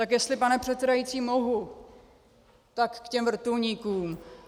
Tak jestli, pane předsedající, mohu, tak k těm vrtulníkům.